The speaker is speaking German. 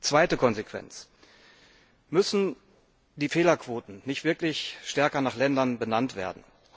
Zweite Konsequenz Müssen die Fehlerquoten nicht wirklich stärker nach Ländern benannt werden?